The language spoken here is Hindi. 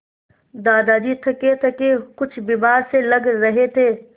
दादाजी थकेथके कुछ बीमार से लग रहे थे